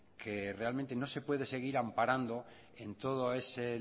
que realmente no se puede seguir amparando en todo ese